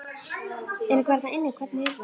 Er einhver þarna inni, hvernig er það?